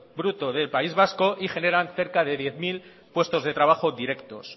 bruto del país vasco y generan cerca de diez mil puestos de trabajo directos